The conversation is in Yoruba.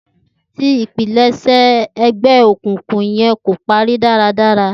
Ti ipilẹṣẹ ẹgbẹ okunkun yẹn ko pari daradara